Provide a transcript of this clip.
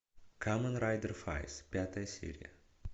камен райдер файз пятая серия